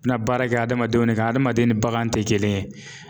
na baara kɛ adamadenw ne ka adamaden ni bagan tɛ kelen ye.